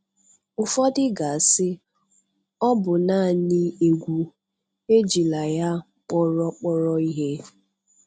Ụfọdụ ga-asị, "Ọ bụ naanị egwu. Ejila ya kpọrọ kpọrọ ihe!"